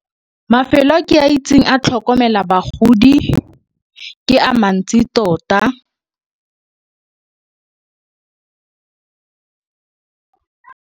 Mafelo a ke a itseng a tlhokomela bagodi ke a mantsi tota.